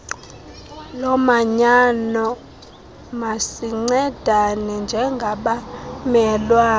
lomanyano masincedane njengabamelwane